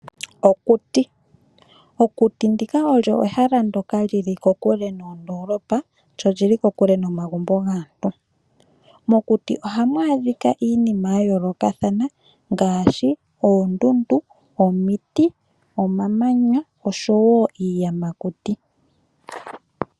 Okuti, okuti ndika olyo ehala ndyoka li li kokule noondolopa lyo oli li kokule nomagumbo gaantu. Mokuti ohamu adhika iinima yayoolokathana ngaashi oondundu, omiti, omamanya osho wo iiyamakuti.